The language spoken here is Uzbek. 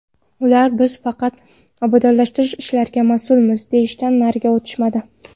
Ular biz faqat obodonlashtirish ishlariga mas’ulmiz, deyishdan nariga o‘tishmadi.